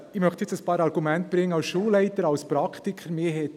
Ich möchte jetzt einige Argumente als Schulleiter und Praktiker einbringen.